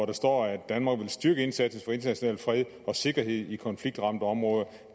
der står at danmark vil styrke indsatsen for international fred og sikkerhed i konfliktramte områder